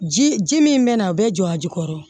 Ji ji min bɛ na a bɛ jɔ a ji kɔrɔ